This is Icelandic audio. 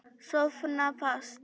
Sofna fast.